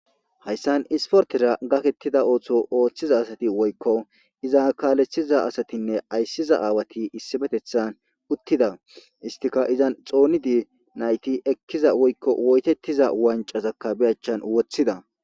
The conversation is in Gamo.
hayssan isportera gakettida ooththo ooththiza asati woykko iza kaalettiza asatinne ayssiza aawati issibetethan uttida istika izan xoonidi nayti ekkiza woykko woytettiza wancazakka beyachchan woththida